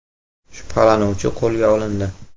Shubhalanuvchi qo‘lga olindi.